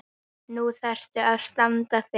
Nú þarftu að standa þig.